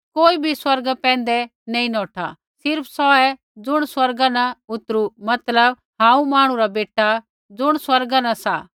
कोई बी स्वर्गा पैंधै नैंई नौठा सिर्फ़ सौहै ज़ुण स्वर्गा न उतरु मतलब हांऊँ मांहणु रा बेटा ज़ुण स्वर्गा न सा